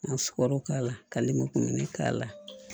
Ka sukaro k'a la ka lenburukumuni k'a la